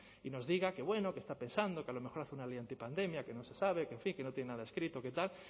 y nos diga que bueno que está pensando que a lo mejor hace una ley antipandemia que no se sabe que en fin que no tiene nada escrito que tal